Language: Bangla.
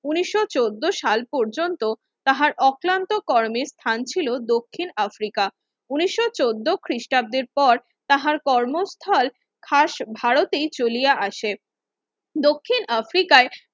ঊনিশো চোদ্দো সাল পৰ্যন্ত তাঁহার অক্লান্ত কর্মের স্থান ছিল দক্ষিণ আফ্রিকা ঊনিশো চোদ্দো খ্রিস্টাব্দের পর তাঁহার কর্মস্থল খাস ভারতে চলিয়া আসে দক্ষিণ আফ্রিকায়